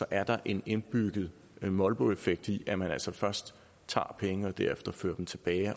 er der en indbygget molboeffekt i at man altså først tager penge og derefter fører dem tilbage